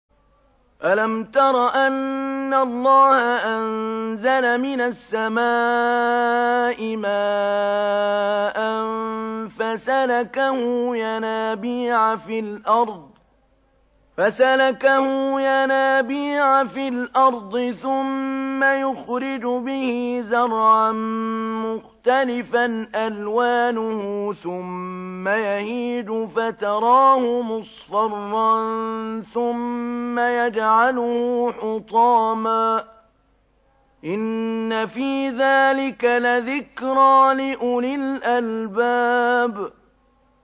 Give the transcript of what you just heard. أَلَمْ تَرَ أَنَّ اللَّهَ أَنزَلَ مِنَ السَّمَاءِ مَاءً فَسَلَكَهُ يَنَابِيعَ فِي الْأَرْضِ ثُمَّ يُخْرِجُ بِهِ زَرْعًا مُّخْتَلِفًا أَلْوَانُهُ ثُمَّ يَهِيجُ فَتَرَاهُ مُصْفَرًّا ثُمَّ يَجْعَلُهُ حُطَامًا ۚ إِنَّ فِي ذَٰلِكَ لَذِكْرَىٰ لِأُولِي الْأَلْبَابِ